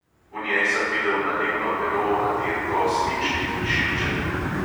V njej sem videl nalivno pero, radirko, svinčnik in šilček.